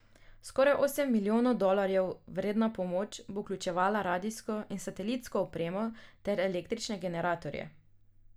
Skoraj osem milijonov dolarjev vredna pomoč bo vključevala radijsko in satelitsko opremo ter električne generatorje.